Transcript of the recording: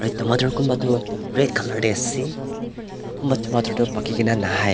tomato kunba tu red colour te kunba tu Paki kina nahai--